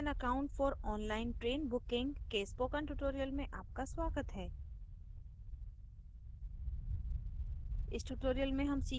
registration of an account for online train booking के spoken tutorial में आपका स्वागत है